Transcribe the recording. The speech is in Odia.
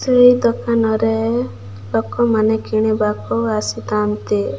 ସେଇ ଦୋକାନରେ ଲୋକମାନେ କିଣିବାକୁ ଆସିଥାନ୍ତି ।